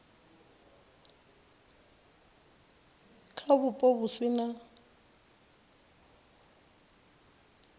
kha vhupo vhu si na